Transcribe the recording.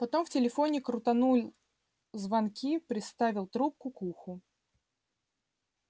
потом в телефоне крутанул звонки приставил трубку к уху